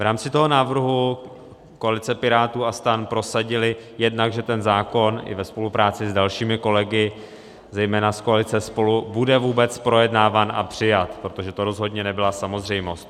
V rámci toho návrhu koalice Pirátů a STAN prosadila jednak, že ten zákon i ve spolupráci s dalšími kolegy, zejména z koalice SPOLU, bude vůbec projednáván a přijat, protože to rozhodně nebyla samozřejmost.